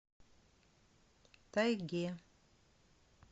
тайге